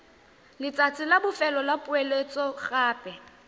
letsatsi la bofelo la poeletsogape